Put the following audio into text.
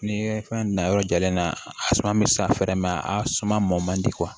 Ni fɛn na yɔrɔ jalen na a suma bɛ san fɛɛrɛ mɛn a suma mɔn man di